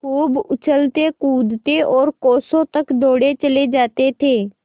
खूब उछलतेकूदते और कोसों तक दौड़ते चले जाते थे